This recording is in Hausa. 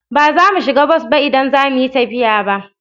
Ba za mu shiga bas ba idan za mu yi tafiya ba.